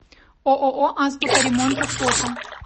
ооо азбука ремонта фото